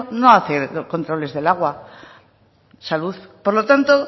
no hace controles del agua salud por lo tanto